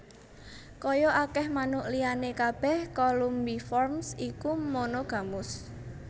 Kaya akèh manuk liyané kabèh Columbiformes iku monogamus